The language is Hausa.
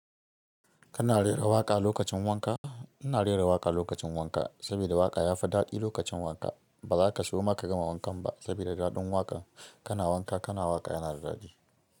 Kana rera waƙa lokacin wanka? Ina rera waƙa lokacin wanka, saboda waƙa ya fi daɗi lokacin wanka. Ba za ka soma ka gama wankan ba, saboda daɗin waƙan kana wanka kana waƙa yana da daɗi.